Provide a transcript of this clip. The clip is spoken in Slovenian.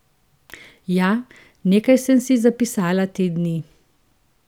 Ja, nekaj sem si zapisala te dni.